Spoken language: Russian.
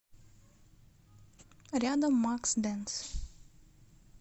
рядом макс дэнс